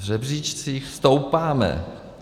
V žebříčcích stoupáme.